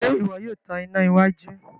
Ṣe iwọ yóò tàn iná iwájú?